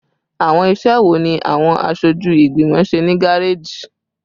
Awọn iṣẹ wo ni awọn aṣoju igbimọ ṣe ni gareji?